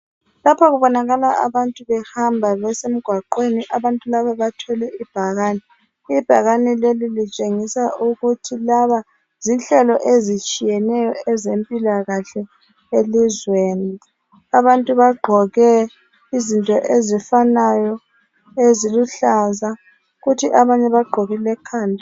Lapha kubonakala abantu behamba besemgwaqweni. Abantu laba bathwele ibhakane. Ibhakane leli litshengisa ukuthi laba zinhlelo ezitshiyeneyo ezempilakahle elizweni. Abantu bagqoke izinto ezifanayo eziluhlaza, kuthi abanye bagqokile emakhanda.